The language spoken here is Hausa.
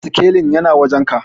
sikelin yana wajenka?